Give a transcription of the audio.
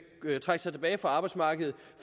trække sig tilbage fra arbejdsmarkedet